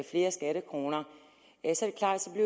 flere skattekroner